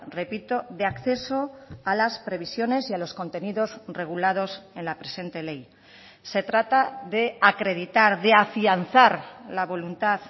repito de acceso a las previsiones y a los contenidos regulados en la presente ley se trata de acreditar de afianzar la voluntad